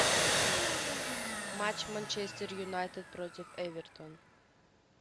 матч манчестер юнайтед против эвертон